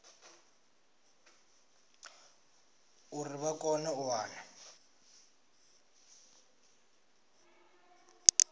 uri vha kone u wana